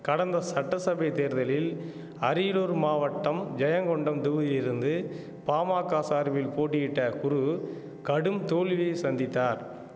கடந்த சட்டசபை தேர்தலில் அரியலூர் மாவட்டம் ஜெயங்கொண்டம் தொகுதியிருந்து பாமாக்க சார்பில் போட்டியிட்ட குரு கடும் தோல்வியை சந்தித்தார்